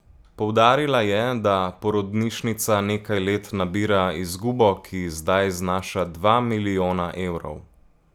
Poudarila je, da porodnišnica nekaj let nabira izgubo, ki zdaj znaša dva milijona evrov.